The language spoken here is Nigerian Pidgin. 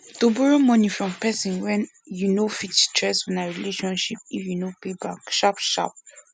to borrow money from person wey you know fit stress una relationship if you no pay back sharp sharp